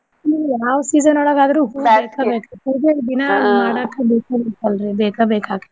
ಹ್ಮ್ ಯಾವ್ season ಒಳ್ಗ ಆದ್ರೂ ಪೂಜೆಯ ದಿನ ಬೆಕಾಗಿತ್ತಲ್ರೀ ಬೇಕಾ ಬೇಕ ಆಗ.